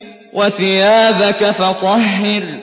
وَثِيَابَكَ فَطَهِّرْ